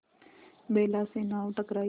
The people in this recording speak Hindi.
बेला से नाव टकराई